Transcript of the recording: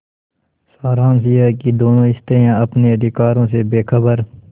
सारांश यह कि दोनों स्त्रियॉँ अपने अधिकारों से बेखबर